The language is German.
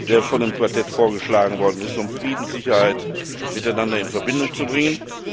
der von dem Quartett vorgeschlagen wurde, um Frieden und Sicherheit miteinander in Verbindung zu bringen.